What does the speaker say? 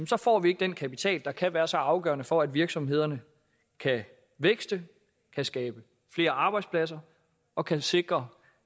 så får vi ikke den kapital der kan være så afgørende for at virksomhederne kan vækste kan skabe flere arbejdspladser og kan sikre